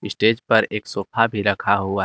Stage पर एक sofa भी रखा हुआ है।